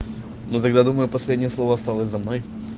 ну тогда думай последнее слово осталось за мной